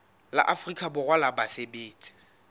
la afrika borwa la basebetsi